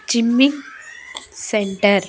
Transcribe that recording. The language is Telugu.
చిన్ని సెంటర్ .